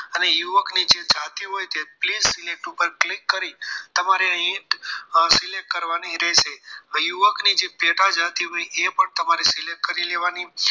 અને યુવકની જે જાતિ હોય please select ઉપર click કરી તમારે અહીં select કરવાની રહેશે યુવકની જે પેટા જાતિ પૈકી એ પણ તમારી select કરી લેવાની